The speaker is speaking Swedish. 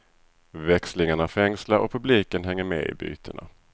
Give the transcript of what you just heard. Växlingarna fängslar och publiken hänger med i bytena.